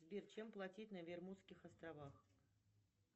сбер чем платить на бермудских островах